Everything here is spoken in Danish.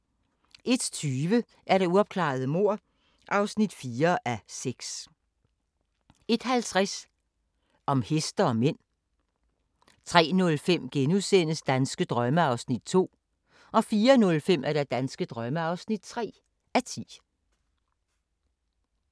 01:20: Uopklarede mord (4:6) 01:50: Om heste og mænd 03:05: Danske drømme (2:10)* 04:05: Danske drømme (3:10)